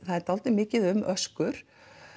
það er dálítið mikið um öskur